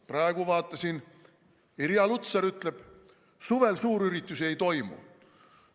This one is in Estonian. Praegu vaatasin, Irja Lutsar ütleb: suvel suurüritusi ei toimu.